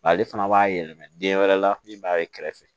Ale fana b'a yɛlɛma den wɛrɛ la min b'a ye kɛrɛfɛ